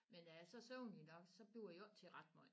Men når jeg så er søvnig nok så bliver jo ikke til ret måj